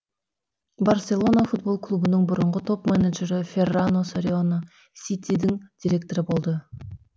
барселона футбол клубының бұрынғы топ менеджері феррано сориано ситидің директоры болды